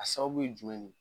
A sababu bɛ ye jumɛn ye?